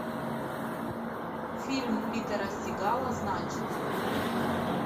фильм питера сигала значит